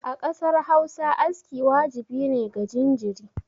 A ƙasar Hausa aski wajibi ne ga jinjiri